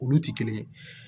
Olu ti kelen ye